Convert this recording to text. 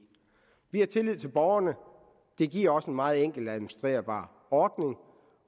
vi har tillid til borgerne det giver også en meget enkelt administrerbar ordning